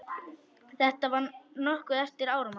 Þetta var nokkru eftir áramót.